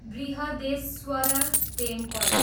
Brihadeeswarar temple